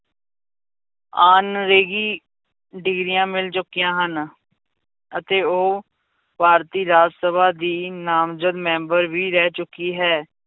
Honorary ਡਿਗਰੀਆਂ ਮਿਲ ਚੁੱਕੀਆਂ ਹਨ, ਅਤੇ ਉਹ ਭਾਰਤੀ ਰਾਜ ਸਭਾ ਦੀ ਨਾਮਜਦ ਮੈਂਬਰ ਵੀ ਰਹਿ ਚੁੱਕੀ ਹੈ।